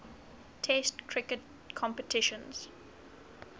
test cricket competitions